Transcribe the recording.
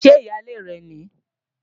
Ṣé ìyálé rẹ̀ nìí?